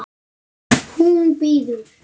Hún bíður!